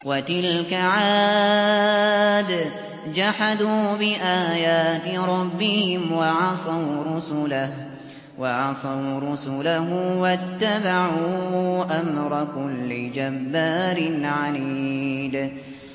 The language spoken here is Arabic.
وَتِلْكَ عَادٌ ۖ جَحَدُوا بِآيَاتِ رَبِّهِمْ وَعَصَوْا رُسُلَهُ وَاتَّبَعُوا أَمْرَ كُلِّ جَبَّارٍ عَنِيدٍ